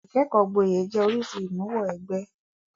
Ìkẹ́kọ̀ọ́ gboyè jẹ́ oríṣìí ìmúwọ-ẹgbẹ́.